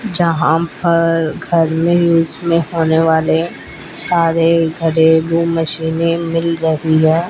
जहां पर घर मे यूज मे होने वाले सारे घरेलू मशीनें मिल रही है।